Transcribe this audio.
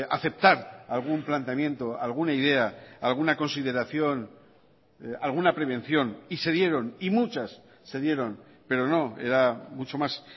aceptar algún planteamiento alguna idea alguna consideración alguna prevención y se dieron y muchas se dieron pero no era mucho más